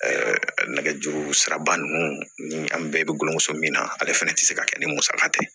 nɛgɛjuru siraba ninnu ni an bɛɛ bɛ gulɔ min na ale fana tɛ se ka kɛ ni musaka tɛ